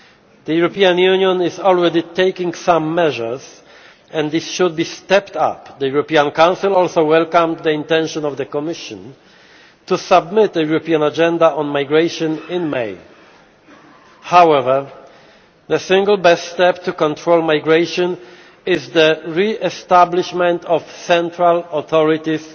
The European Union is already taking some measures and these should be stepped up. The European Council also welcomed the intention of the Commission to submit a European Agenda on Migration in May. However, the single best step to control migration is the re establishment of central authorities